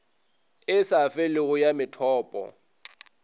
e sa felego ya methopo